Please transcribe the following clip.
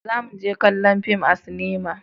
za mu je kallon fim a sinima